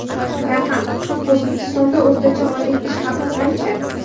Raqam: O‘zbekistonda o‘rtacha oylik ish haqi qancha?